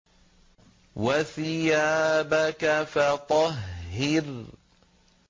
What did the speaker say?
وَثِيَابَكَ فَطَهِّرْ